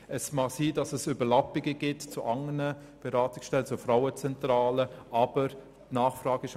Es mag sein, dass Überlappungen zu anderen Beratungsstellen, zum Beispiel zur Frauenzentrale, bestehen.